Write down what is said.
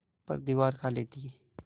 पर दीवार खाली थी